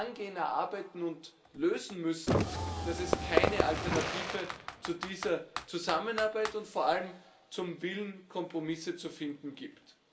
angehen, erarbeiten und lösen müssen, dass es keine Alternative zu dieser Zusammenarbeit und vor allem zum Willen, Kompromisse zu finden, gibt.